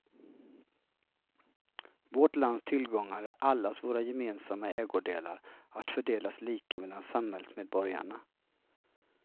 Vårt lands tillgångar är allas våra gemensamma ägodelar, att fördelas lika mellan samhällsmedborgarna.